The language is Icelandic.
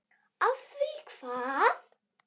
Af því hvað?